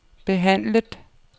behandlet